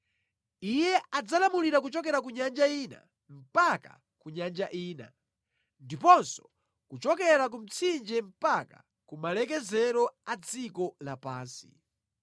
Iye adzalamulira kuchokera ku nyanja ina mpaka ku nyanja ina ndiponso kuchokera ku mtsinje mpaka ku malekezero a dziko lapansi.